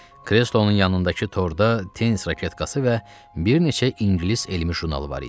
Kreslonun yanındakı torda tennis raketkası və bir neçə ingilis elmi jurnalı var idi.